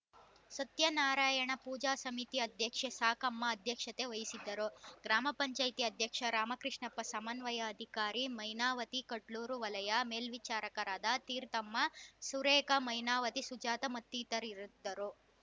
ಸತ್ಯನಾರಾಯಣ ಪೂಜಾ ಸಮಿತಿ ಅಧ್ಯಕ್ಷೆ ಸಾಕಮ್ಮ ಅಧ್ಯಕ್ಷತೆ ವಹಿಸಿದ್ದರು ಗ್ರಾಮ ಪಂಚಾಯೆತಿ ಅಧ್ಯಕ್ಷ ರಾಮಕೃಷ್ಣಪ್ಪ ಸಮನ್ವಯ ಅಧಿಕಾರಿ ಮೈನಾವತಿ ಕುಡ್ಲೂರು ವಲಯ ಮೇಲ್ವಿಚಾರಕರಾದ ತೀರ್ಥಮ್ಮ ಸುರೇಖ ಮೈನಾವತಿ ಸುಜಾತ ಮತ್ತಿತರರಿದ್ದರು